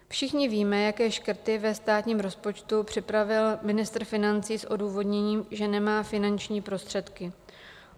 Všichni víme, jaké škrty ve státním rozpočtu připravil ministr financí s odůvodněním, že nemá finanční prostředky.